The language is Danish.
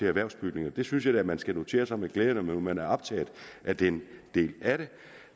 erhvervsbygninger det synes jeg da at man skal notere sig med glæde når man er optaget af den del af det